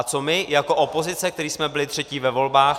A co my jako opozice, kteří jsme byli třetí ve volbách?